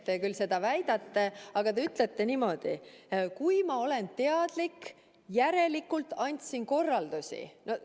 Te küll seda väidate, aga te ütlete, et kui ma olin teadlik, siis ma järelikult andsin korraldusi.